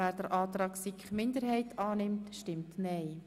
wer den Antrag Grüne annehmen will, stimmt nein.